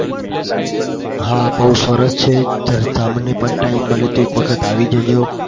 હા બઉ સરસ છે. તમને પણ time મળે તો એક વખત આવી જજો.